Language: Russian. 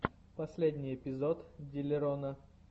последний эпизод диллерона